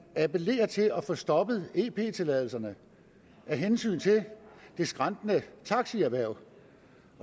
appellerer her til at få stoppet ep tilladelserne af hensyn til det skrantende taxierhverv